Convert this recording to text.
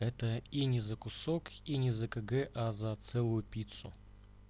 это и не за кусок и не за кг а за целую пиццу